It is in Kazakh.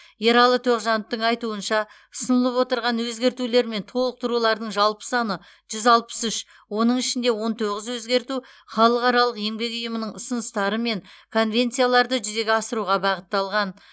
ералы тоғжановтың айтуынша ұсынылып отырған өзгертулер мен толықтырулардың жалпы саны жүз алпыс үш оның ішінде он тоғыз өзгерту халықаралық еңбек ұйымының ұсыныстары мен конвенцияларды жүзеге асыруға бағытталған